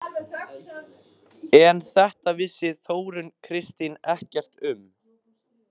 En þetta vissi Þórunn Kristín ekkert um.